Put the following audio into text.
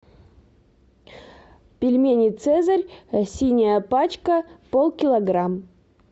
пельмени цезарь синяя пачка пол килограмм